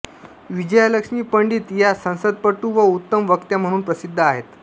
विजयालक्ष्मी पंडित या संसदपटू व उत्तम वक्त्या म्हणून प्रसिद्ध आहेत